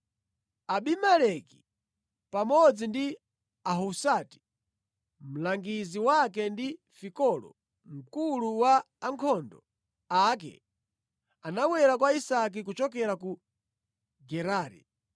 Abimeleki pamodzi ndi Ahuzati mlangizi wake ndi Fikolo mkulu wa ankhondo ake anabwera kwa Isake kuchokera ku Gerari.